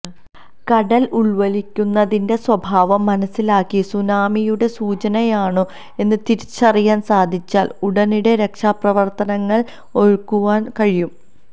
കടല് ഉള്വലിയുന്നതിന്റെ സ്വഭാവം മനസ്സിലാക്കി സുനാമിയുടെ സൂചനയാണോ എന്ന് തിരിച്ചറിയാന് സാധിച്ചാല് ഉടനടി രക്ഷാപ്രവര്ത്തനങ്ങള് ഒരുക്കുവാന് കഴിയും